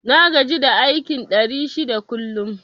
Na gaji da aikin ɗari shida kullum